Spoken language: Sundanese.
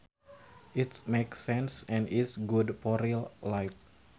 It makes sense and is good for real life